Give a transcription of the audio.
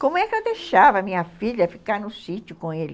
Como é que eu deixava minha filha ficar no sítio com ele?